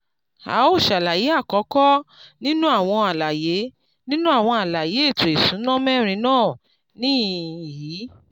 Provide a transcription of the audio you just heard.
à ó ṣàlàyé àkọ́kọ́ nínú àwọn àlàyé nínú àwọn àlàyé èẹto ìsúná mẹ́rin náà níhìn-ín yi